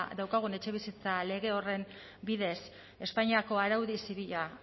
daukagun etxebizitza lege horren bidez espainiako araudi zibila